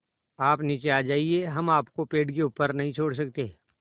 आप नीचे आ जाइये हम आपको पेड़ के ऊपर नहीं छोड़ सकते